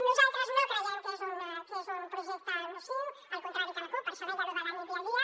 nosaltres no creiem que sigui un projecte nociu al contrari que la cup per això deia això de la nit i el dia